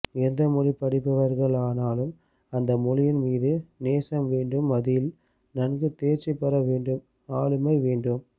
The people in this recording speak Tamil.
எந்த மொழி படிப்பவர்கள் ஆனாலும் அந்த மொழியின் மீது நேசம் வேண்டும்அதில் நன்கு தேர்ச்சி பெற வேண்டும்ஆளுமை வேண்டும்